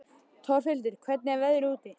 Torfhildur, hvernig er veðrið úti?